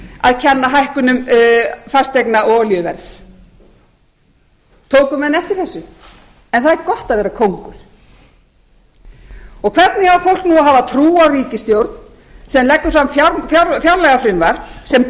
að kenna hækkunum fasteigna og olíuverðs tóku menn eftir þessu en það er gott að vera kóngur hvernig á fólk nú að hafa trú á ríkisstjórn sem leggur fram fjárlagafrumvarp sem